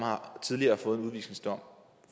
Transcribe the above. tidligere har fået en udvisningsdom